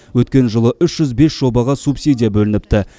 өткен жылы үш жүз бес жобаға субсидия бөлініпті